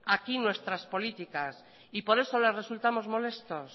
aquí nuestras políticas y por eso le resultamos molestos